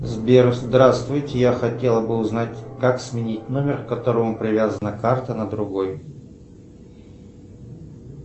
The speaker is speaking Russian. сбер здравствуйте я хотела бы узнать как сменить номер к которому привязана карта на другой